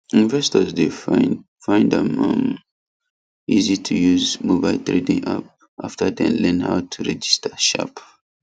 investors dey find find am um easy to use mobile trading app after dem learn how to register sharp